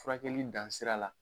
Furakɛli dan sira la